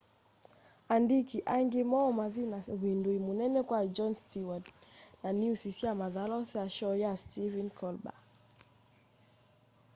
andiki aingi moo mathi na uvindui munene kwa jon steward na niusi sya mathalau sya shoo ya stephen colber